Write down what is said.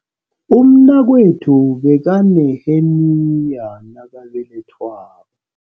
Umnakwethu bekaneheniya nakabelethwako.